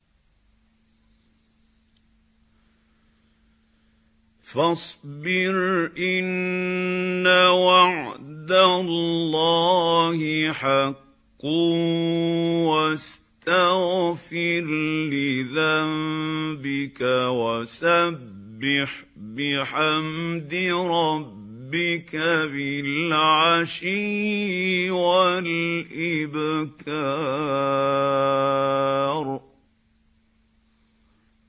فَاصْبِرْ إِنَّ وَعْدَ اللَّهِ حَقٌّ وَاسْتَغْفِرْ لِذَنبِكَ وَسَبِّحْ بِحَمْدِ رَبِّكَ بِالْعَشِيِّ وَالْإِبْكَارِ